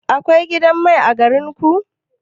Akwai gidan mai a garin ku?